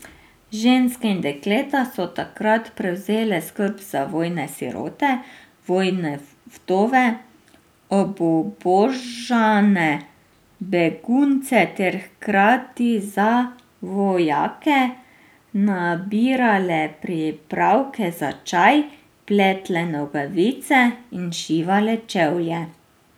Ženske in dekleta so takrat prevzele skrb za vojne sirote, vojne vdove, obubožane, begunce ter hkrati za vojake nabirale pripravke za čaje, pletle nogavice in šivale čevlje.